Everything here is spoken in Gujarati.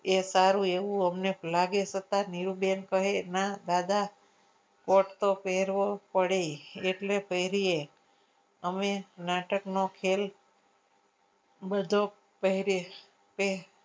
એ સારું એવું અમને લાગે છતાય નીરૂબેન કહે ના દાદા કોટ તો પહેરવો પડે એટલે પહેરીએ અમે નાટકનો ખેલ બધો પહેરીએ કે